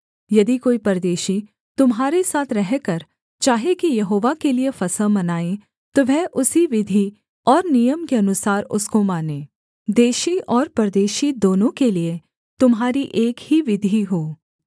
यदि कोई परदेशी तुम्हारे साथ रहकर चाहे कि यहोवा के लिये फसह मनाएँ तो वह उसी विधि और नियम के अनुसार उसको माने देशी और परदेशी दोनों के लिये तुम्हारी एक ही विधि हो